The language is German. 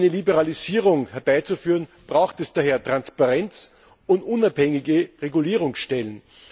Um eine Liberalisierung herbeizuführen, braucht es daher Transparenz und unabhängige Regulierungsstellen.